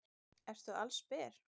Ertu allsber?